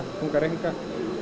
þunga reikninga